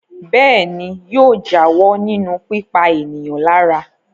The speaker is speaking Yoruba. Bẹ́ẹ̀ ni, yóò jáwọ́ nínú pípa ènìyàn lára.